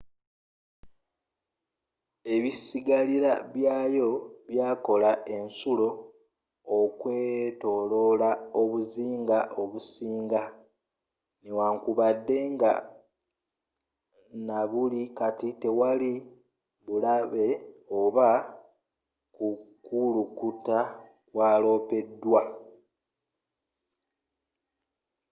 ebisigalira byayo byakola ensulo okwetoloola obuzinga obusinga newankubadde nabuli kati tewali bulabe oba kukulukuta kwalopeddwa